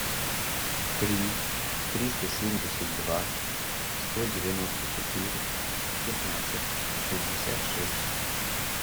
три триста семьдесят два сто девяносто четыре пятнадцать шестьдесят шесть